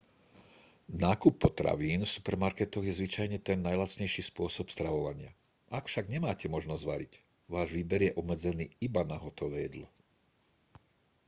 nákup potravín v supermarketoch je zvyčajne ten najlacnejší spôsob stravovania ak však nemáte možnosť variť váš výber je obmedzený iba na hotové jedlo